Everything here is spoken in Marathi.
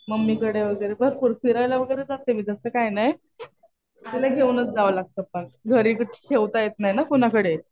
मम्मीकडे वगैरे भरपूर फिरायला वगैरे जाते मी तसं काही नाही. तिला घेऊनच जावं लागत पण. घरी ठेवता येतं नाही ना कुणाकडे.